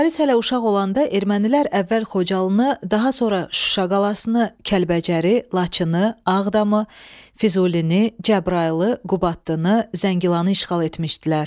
Mübariz hələ uşaq olanda ermənilər əvvəl Xocalını, daha sonra Şuşa qalasını, Kəlbəcəri, Laçını, Ağdamı, Füzulini, Cəbrayılı, Qubadlı, Zəngilanı işğal etmişdilər.